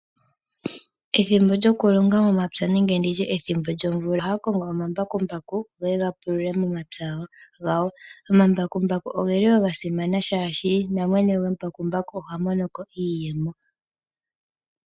Ethimbo lyokulonga momapya nenge nditye ethimbo lyomvula, ohaya kongo omambakumbaku geye ga pulule momapya gawo. Omambakumbaku ogeli wo ga simana shaashi namwene gwembakumbaku oha monoko iiyemo.